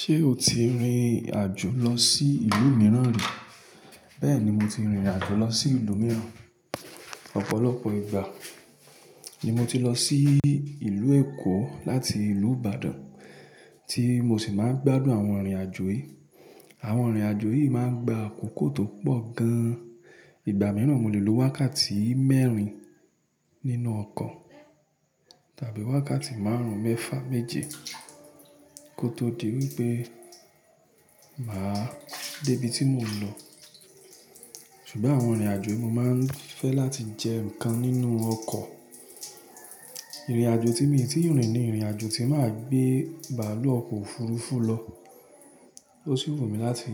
Ṣé o ti rìnrìn àjò lọ sí ìlú mìíràn rí? Bẹ́ẹ̀ni, mo ti rìnrìn àjò lọ sí ìlú mìíràn. Ọ̀pọ̀lọpọ̀ ìgbà ni mo ti lọ sí ìlú Èkó láti ìlú Ìbàdàn tí mo sì máa ń gbádùn àwọn ìrìn àjò yìí. Àwọn ìrìn àjò yìí máa ń gba àkókò tó pọ̀ gan-an. Ìgbà mìíràn mo lè lo wákàtí mẹ́rin nínú ọkọ̀ tàbí wákàtí márùn-ún mẹ́fà méje kó tó di wípé màá dé ibi tí mò ń lọ. Ṣùgbọ́n àwọn ìrìn àjò mo máa ń fẹ́ láti jẹ nǹkan nínú ọkọ̀. Ìrìn àjò tí èmi tí ń rìn ni ìrìn àjò tí màá gbé bàálù ọkọ̀ òfurufú lọ. Ó sì wù mí láti